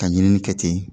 Ka ɲinini kɛ ten